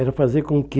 Era fazer com que